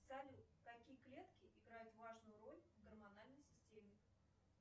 салют какие клетки играют важную роль в гормональной системе